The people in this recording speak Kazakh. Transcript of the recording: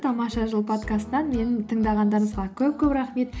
тамаша жыл подкасттан мені тыңдағандарыңызға көп көп рахмет